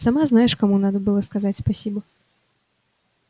сама знаешь кому надо сказать спасибо